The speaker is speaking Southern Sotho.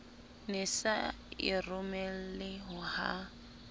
ne sa e romele ha